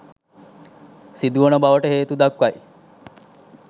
සිදුවන බවට හේතුදක්වයි.